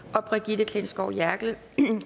og brigitte klintskov jerkel